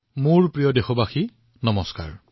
মোৰ মৰমৰ দেশবাসীসকল নমস্কাৰ